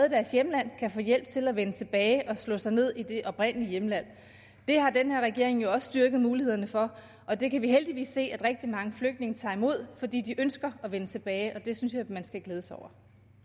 kan få hjælp til at vende tilbage og slå sig ned i det oprindelige hjemland det har den her regering jo styrket mulighederne for og det kan vi heldigvis se at rigtig mange flygtninge tager imod fordi de ønsker at vende tilbage det synes jeg man skal glæde sig over